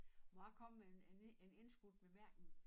Må jeg komme med en en indskudt bemærkning